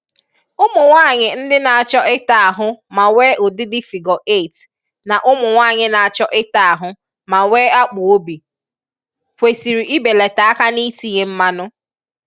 Ụmụnwaanyị ndị na-achọ ịta ahụ ma nwee ụdịdị ‘figure 8’ na ụmụnwaanyị na-achọ ịta ahụ ma nwee akpụ̀obi, kwesị̀rị̀ ibelata aka n’itinye mmanụ.